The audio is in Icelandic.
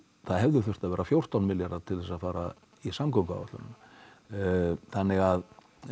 það hefði þurft að vera fjórtán milljarðar til að fara í samgönguáætlunina þannig að